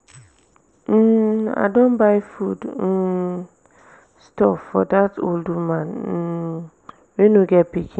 um i don buy food um stuff for dat old woman um wey no get pikin.